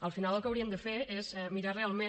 al final el que haurien de fer és mirar realment